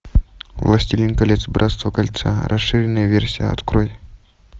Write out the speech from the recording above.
властелин колец братство кольца расширенная версия открой